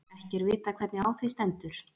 Ekki er vitað hvernig á því stendur.